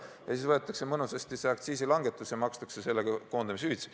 Ja siis võetakse mõnusasti see aktsiisilangetusega kokku hoitud raha ja makstakse sellega koondamishüvitisi.